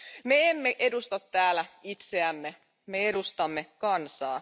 Me emme edusta täällä itseämme, me edustamme kansaa.